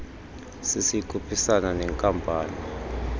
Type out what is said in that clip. cc ikhuphisana neenkampani